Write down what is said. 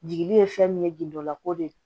Jigi ye fɛn min ye gindola ko de ye